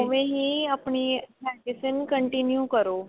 ਉਵੇਂ ਹੀ ਆਪਣੀ medicine continue ਕਰੋ